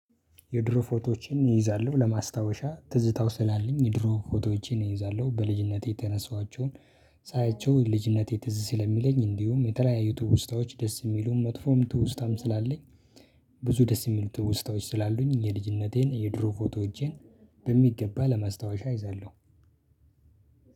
የድሮ ፎቶዎቼን እይዛለሁ ለማስታወሻ ትዝታው ስላለኝ የድሮ ፎቶዎቼን እይዛለሁ በልጅነቴ የተነሳኋቸውን ሳያቸው ልጅነቴ ትዝ ስለሚለኝ እንዲሁም የተለያዩ ትውስታዎች ደስ የሚሉም መጥፎም ትውስታም ስላለኝ። ብዙ ደስ የሚሉ ትውስታዎች ስላሉኝ የልጅነቴን የድሮ ፎቶዎቼን በሚገባ ለማስታወሻ እይዛለሁ።